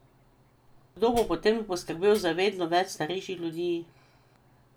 Kdo bo potem poskrbel za vedno več starejših ljudi?